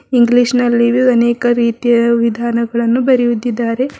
English ನಲ್ಲಿ ಅನೇಕ ರೀತಿಯ ವಿಧಾನಗಳನ್ನು ಬರೆಯುತ್ತಿದ್ದಾರೆ.